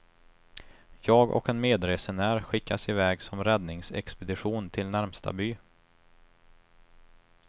Jag och en medresenär skickas i väg som räddningsexpedition till närmsta by.